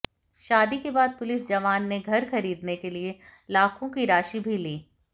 शादी के बाद पुलिस जवान ने घर खरीदने के लिए लाखों की राशि भी ली